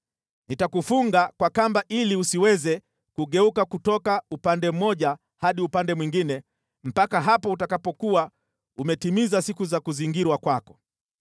Nitakufunga kwa kamba ili usiweze kugeuka kutoka upande mmoja hadi upande mwingine, mpaka hapo utakapokuwa umetimiza siku za kuzingirwa kwako.